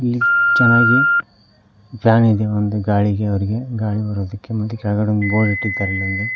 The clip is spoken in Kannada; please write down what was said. ಇಲ್ಲಿ ಚೆನಾಗಿ ಫ್ಯಾನ್ ಇದೆ ಒಂದು ಗಾಳಿಗೆ ಅವರಿಗೆ ಗಾಳಿ ಬರೋದಕ್ಕೆ ಮತ್ತೆ ಕೆಳಗಡೆ ಒಂದು ಬೋರ್ಡ್ ಇಟ್ಟಿದ್ದಾರೆ ಇಲ್ಲೊಂದು.